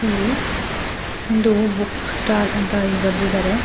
ಇಲ್ಲಿ ಒಂದು book stall ಅಂತ ಇಲ್ಲಿ ಬರೆದಿದ್ದಾರೆ.